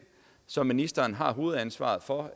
som ministeren har hovedansvaret for